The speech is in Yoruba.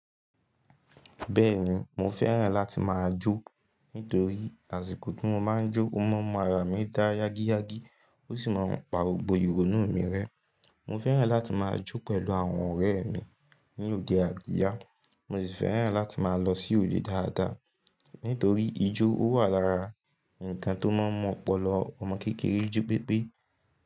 Bẹ́ẹ̀ni, mo fẹ́ràn láti máa jó. Nítorí àsìkò tí mo máa ń jó, ó mọ́ mara mi dá yágíyágí, ó sì máa ń pa gbogbo ìrònú mi rẹ́. Mo fẹ́ràn láti máa jó pẹ̀lú àwọn ọ̀rẹ́ mi ní òde àríyá. Mo ṣì fẹ́ràn láti máa lọ sí òde dáadáa. Nítorí ijó ó wà lára nǹkan tó máa mọ̀ ọ́pọlọ ọmọ kékeré ji pépé.